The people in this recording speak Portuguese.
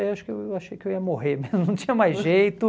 Eu eu achei que eu ia morrer, mas não tinha mais jeito.